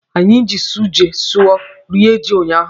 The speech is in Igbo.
Anyị ji sọsụ ji rie ji unyaahụ.